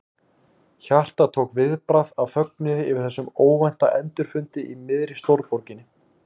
Hjartað tók viðbragð af fögnuði yfir þessum óvænta endurfundi í miðri stórborginni.